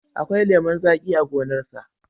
Akwai lemon zaƙi a gonarsa.